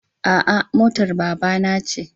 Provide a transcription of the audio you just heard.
A'a motar babana ce.